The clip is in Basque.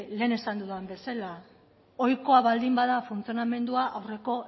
lehen esan dudan bezala ohikoa baldin bada funtzionamendua aurreko